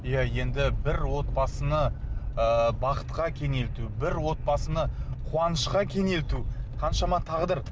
иә енді бір отбасыны ы бақытқа кенелту бір отбасыны қуанышқа кенелту қаншама тағдыр